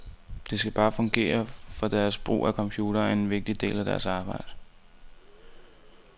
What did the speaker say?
Det skal bare fungere, for deres brug af computeren er en vigtig del af deres arbejde.